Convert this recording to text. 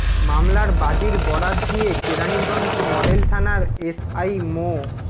মামলার বাদীর বরাত দিয়ে কেরানীগঞ্জ মডেল থানার এস আই মো